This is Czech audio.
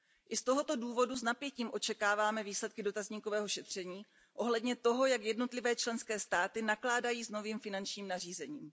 I z tohoto důvodu s napětím očekáváme výsledky dotazníkového šetření ohledně toho, jak jednotlivé členské státy nakládají s novým finančním nařízením.